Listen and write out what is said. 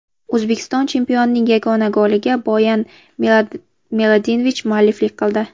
O‘zbekiston chempionining yagona goliga Boyan Miladinovich mualliflik qildi.